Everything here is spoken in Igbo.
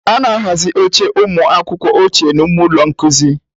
A na-ahazi oche ụmụ akwụkwọ ochie n'ime ụlọ nkuzi.